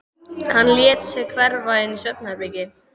Hann lét sig hverfa inn í svefnherbergi.